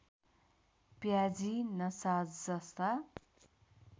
प्याजी नसाजस्ता